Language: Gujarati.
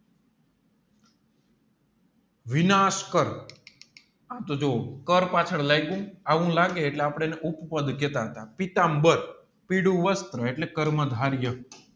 વિનાશકારી પણ તો જો કર પાછળ લાયગું એવું લાગે આપડે એર્ને ઉપ પાઢ કેટ હાર્ટ પીતામ્બર પીળુ વસ્ત્ર એટલે કર્મ ધારીએ